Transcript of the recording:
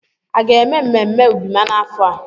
A ga-eme mmemme Ubima n'afọ a?